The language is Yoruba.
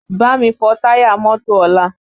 Bámi fọ táyà mọ́tò ọlá!